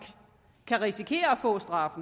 kan risikere at få en straf